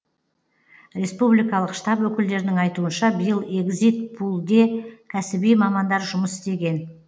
республикалық штаб өкілдерінің айтуынша биыл егзит пулде кәсіби мамандар жұмыс істеген